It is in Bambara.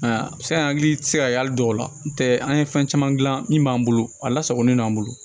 Aa a bɛ se ka an hakili tɛ se ka hali dɔw la n tɛ an ye fɛn caman gilan min b'an bolo a lasagolen don an bolo